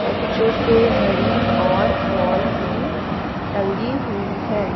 बच्चों के घड़ी और बॉल भी टंगी हुई है।